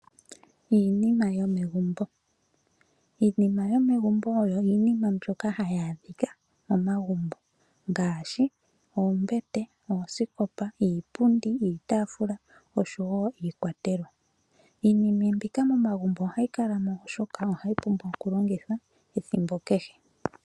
Iinima yomegumbo oyo Iinima mbyoka hayi adhika momagumbo ngaashi oombete, osikopa, iitafula oshowo iikwatelwa. Iinima mbika momagumbo ohayi kala mo oshoka ohayi pumbwa oku longithwa ethimbo kehe.